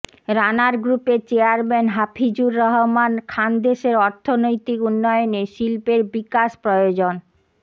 রানার গ্রুপের চেয়ারম্যান হাফিজুর রহমান খানদেশের অর্থনৈতিক উন্নয়নে শিল্পের বিকাশ প্রয়োজন